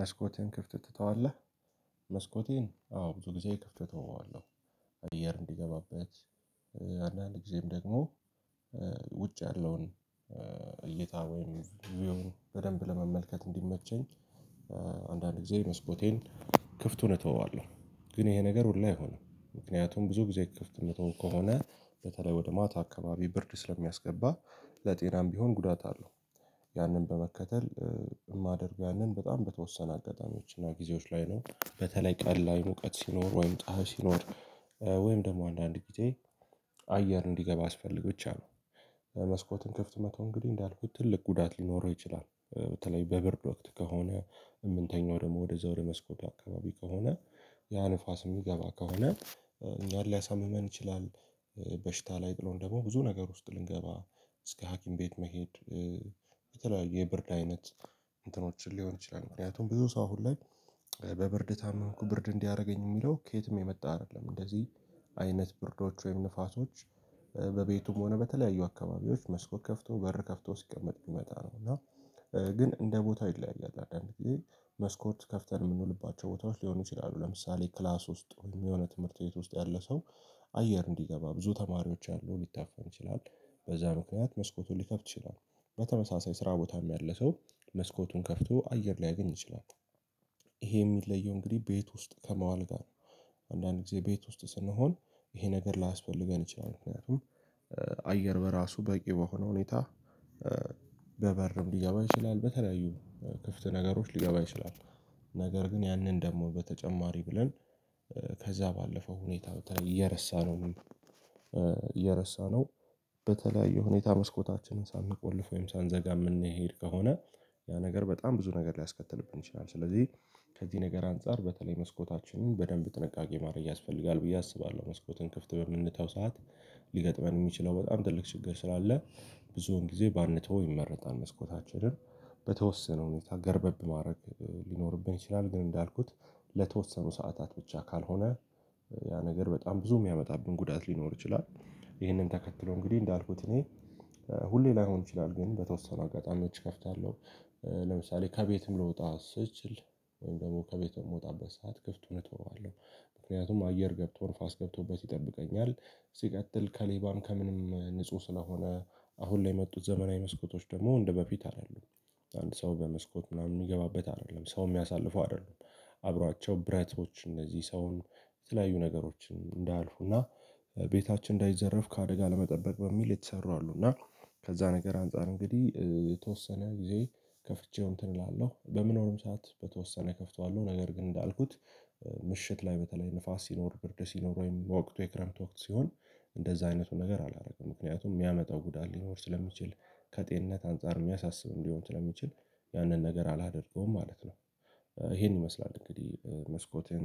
መስኮቴን ክፍት ትተዋለህ? መስኮቴን አዎ ብዙ ጊዜ ክፍት እተወዋለሁ። አየር እንዲገባበት አንዳንድ ጊዜም ደግሞ ውጭ ያለውን እይታ ወይም ቪው በደንብ ለመመልከት እንዲመቸኝ። አንዳንድ ጊዜ መስኮቴን ክፍቱን እተወዋለሁ። ግን ይሄ ነገር ሁሉ አይሆንም ምክንያቱም ብዙ ጊዜ ክፍት የምትተው ከሆነ በተለይ ወደ ማታ አካባቢ ብርድ ስለሚያስገባ ለጤናም ቢሆን ጉዳት አለው። ያንን በመከተል የማደርገው ያንን በጣም በተወሰነ አጋጣሚዎች እና ጊዜዎች ላይ ነው። በተለይ ቀን ላይ ሙቀት ሲኖር ወይም ፀሀይ ሲኖር ወይም ደግሞ አንዳንድ ጊዜ አየር እንዲገባ አስፈልግ ብቻ ነው። መስኮትን ከፍት መተው እንግዲህ እንዳልኩት ትልቅ ጉዳት ሊኖረው ይችላል። በተለይ በብርድ ወቅት ከሆነ የምንተኛው ደግሞ ወደዛ ወደ መስኮት አካባቢ ከሆነ ያ ንፋስ የሚገባ ከሆነ እኛን ሊያሳምመን ይችላል። በሽታ ላይ ጥሎን ደግሞ ብዙ ነገር ውስጥ ልንገባ እስከ ሀኪም ቤት መሄድ። በተለያዩ የብርድ አይነት እንትኖችን ሊሆን ይችላል። ምክንያቱም ብዙ ሰው አሁን ላይ በብርድ ታምኩ ብርድ እንዲያደርገኝ የሚለው ከየትም የመጣ አይደለም እንደዚህ አይነት ብርዶች ወይም ንፋሶች በቤቱም ሆነ በተለያዩ አካባቢዎች መስኮት ከፍቶ በር ከፍቶ ሲቀመጥ ሚመጣ ነው። እና ግን እንደ ቦታው ይለያያል። አንዳንድ ጊዜ መስኮት ከፍተን የምንውልባቸው ቦታዎች ሊሆኑ ይችላሉ። ለምሳሌ ክላስ ውስጥ የሆነ ትምህርት ቤት ውስጥ ያለ ሰው አየር እንዲገባ ብዙ ተማሪዎች አሉ ሊታፈን ይችላል። በዛ ምክንያት መስኮቱን ሊከፍት ይችላል። በተመሳሳይ ስራ ቦታም ያለ ሰው መስኮቱን ከፍቶ አየር ላይ ያገኝ ይችላል። ይሄ የሚለየው እንግዲህ ቤት ውስጥ ከመዋል ጋር ነው። አንዳንድ ጊዜ ቤት ውስጥ ስንሆን ይሄ ነገር ላያስፈልገን ይችላል ምክንያቱም አየር በራሱ በቂ በሆነ ሁኔታ በበርም ሊገባ ይችላል በተለያዩ ክፍት ነገሮች ሊገባ ይችላል። ነገር ግን ያንን ደግሞ በተጨማሪ ብለን ከዛ ባለፈው ሁኔታ እየረሳነውም እየረሳነው በተለያየ ሁኔታ መስኮታችንን ሳንቆልፍ ወይም ሳንዘጋ የምንሄድ ከሆነ። ያ ነገር በጣም ብዙ ነገር ሊያስከትልብን ይችላል። ስለዚህ ከዚህ ነገር አንፃር በተለይ መስኮታችንን በደንብ ጥንቃቄ ማድረግ ያስፈልጋል ብዬ አስባለሁ። መስኮትን ክፍት በምንተው ሰዓት ሊገጥመን የሚችለው በጣም ትልቅ ችግር ስላለ። ብዙውን ጊዜ ባንተው ይመረጣል መስኮታችንን በተወሰነ ሁኔታ ገረበብ ማድረግ ሊኖርብን ይችላል። ግን እንዳልኩት ለተወሰኑ ሰዓታት ብቻ ካልሆነ። ያ ነገር በጣም ብዙ የሚያመጣብን ጉዳት ሊኖር ይችላል። ይህንን ተከትሎ እንግዲህ እንዳልኩት እኔ ሁሌ ላይሆን ይችላል ግን በተወሰኑ አጋጣሚዎች እከፍታለሁ። ለምሳሌ ከቤትም ልወጣ ስል ወይም ደግሞ ከቤቱ የምወጣበት ሰዓት ክፍቱን እተወዋለሁ። ምክንያቱም አየር ገብቶ ነፋስ ገብቶበት ይጠብቀኛል። ሲቀጥል ከሌባም ከምንም ንጹህ ስለሆነ አሁን ላይ የመጡት ዘመናዊ መስኮቶች ደግሞ እንደበፊት አይደሉም። አንድ ሰው በመስኮት ምናምን የሚገባበት አይደለም ሰው የሚያሳልፉ አይደሉም። አብሯቸው ብራቶች እነዚህ ሰውን የተለያዩ ነገሮችን እንዳያልፉና ቤታችን እንዳይዘረፍ ከአደጋ ለመጠበቅ በሚል የተሰሩ አሉና። ከዛ ነገር አንፃር እንግዲህ የተወሰነ ጊዜ ከፍቼው እንትን እላለሁ በምኖርም ሰዓት በተወሰነ እከፍተዋለሁ። ነገር ግን እንዳልኩት ምሽት ላይ በተለይ ንፋስ ሲኖር ብርድ ሲኖር ወይም በወቅቱ የክረምት ወቅት ሲሆን እንደዛ አይነቱ ነገር አላደረገም ምክንያቱም የሚያመጣው ጉዳት ሊኖር ስለሚችል። ከጤንነት አንፃር የሚያሳስብም ሊሆን ስለሚችል ያንን ነገር አላደርገውም ማለት ነው። ይሄን ይመስላል እንግዲህ መስኮቴን